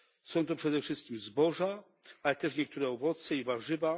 Są to przede wszystkim zboża, ale też niektóre owoce i warzywa.